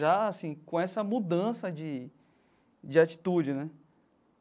Já assim, com essa mudança de de atitude, né?